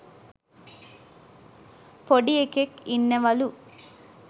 පොඩි එකෙක් ඉන්නවලු